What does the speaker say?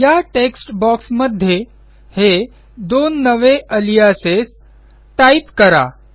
या टेक्स्ट बॉक्समध्ये हे दोन नवे अलियासेस टाईप करा